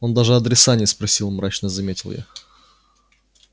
он даже адреса не спросил мрачно заметил я